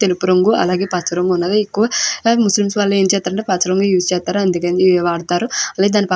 తెలుపు రంగు అలాగే పచ్చ రంగు ఉన్నది. ఎక్కువ ముస్లిమ్స్ వాళ్ళు ఏం చేస్తుంటే పచ్చ రంగు యూస్ చేస్తారు. అలాగే దాని పక్క --